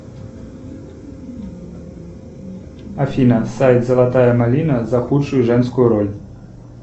афина сайт золотая малина за худшую женскую роль